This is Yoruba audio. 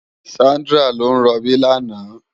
Sandra ló n ròbí làná